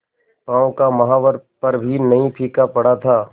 पांव का महावर पर भी नहीं फीका पड़ा था